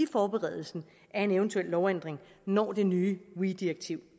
forberedelsen af en eventuel lovændring når det nye weee direktiv